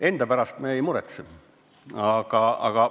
Enda pärast me ei muretsegi.